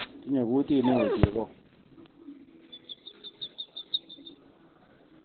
Tinye kutit neo chebon